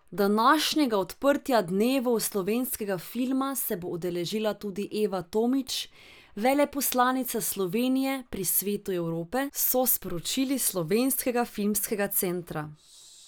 Današnjega odprtja Dnevov slovenskega filma se bo udeležila tudi Eva Tomič, veleposlanica Slovenije pri Svetu Evrope, so sporočili s Slovenskega filmskega centra.